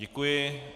Děkuji.